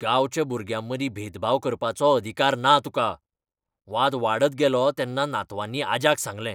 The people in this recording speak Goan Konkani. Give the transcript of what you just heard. गांवच्या भुरग्यांमदीं भेदभाव करपाचो अधिकार ना तुका. वाद वाडत गेलो तेन्ना नातवांनी आज्याक सांगलें